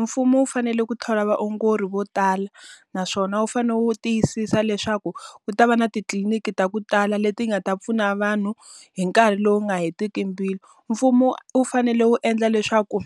Mfumo wu fanele ku thola vaongori vo tala, naswona wu fanele wu tiyisisa leswaku ku ta va na titliniki ta ku tala leti nga ta pfuna vanhu hi nkarhi lowu nga hetiki mbilu. Mfumo wu fanele wu endla leswaku